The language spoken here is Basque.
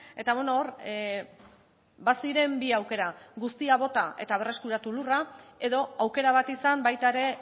eta hor ba ziren bi aukera guztia bota eta berreskuratu lurra edo aukera bat izan baita ere